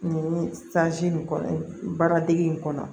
Nin nin kɔnɔ baara degi in kɔnɔ